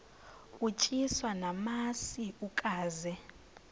utyiswa namasi ukaze